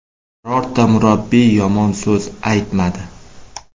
Birorta murabbiy yomon so‘z aytmadi.